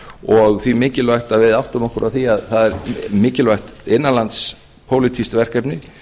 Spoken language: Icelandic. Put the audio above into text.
og því mikilvægt að við áttum okkur á því að það er mikilvægt innanlands pólitískt verkefni